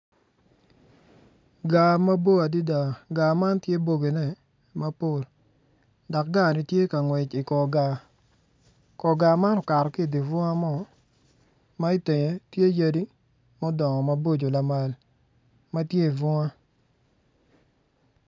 Gaar mabor adada, gaar man tye bogine mabor dok gaarni tye ka ngwec i kor gaar. Kor gaar man okato ki i dye bunga man ma i tenge tye yadi ma odongo maboco lamal ma tye i bunga.